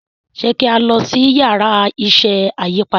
ṣe ki a lọ si Yàrá iṣẹ́ ayípadà?